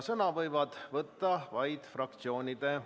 Sõna võivad võtta vaid fraktsioonide ...